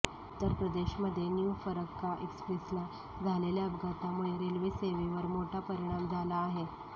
उत्तरप्रदेशमध्ये new Farakka एक्स्प्रेसला झालेल्या अपघातामुळे रेल्वेसेवेवर मोठा परिणाम झाला आहे